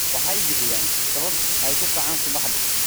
Waxay bixiyaan sabab ay ku kacaan subaxdii.